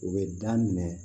U bɛ da minɛ